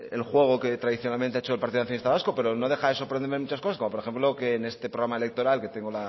el juego que tradicionalmente ha hecho el partido nacionalista vasco pero no deja de sorprenderme muchas cosas como por ejemplo que en este programa electoral que tengo